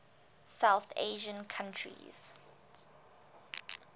south asian countries